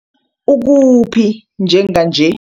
Ukuphi njenganje?